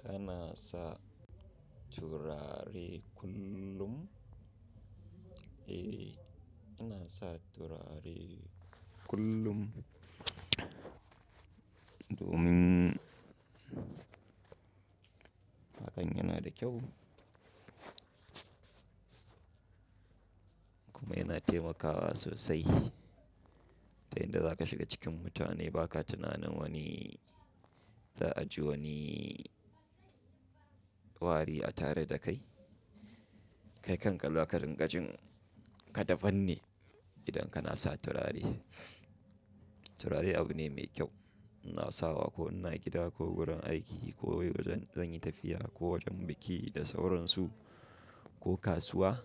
Kana sa turare kullum? Eh, ina sa turare kullum domin hakan yana da kyau kuma yana taimakawa sosai. Da inda za ka shiga cikin mutane ba ka tunanin wani za a ji wani wari a tare da kai. Kai kanka za ka rinkajin ka dabanne idan kana sa turare. Turare abu ne mai kyau. Ina sawa ko ina gida ko wurin aiki ko wajen zan yi tafiya ko wajen biki da sauransu ko kasuwa.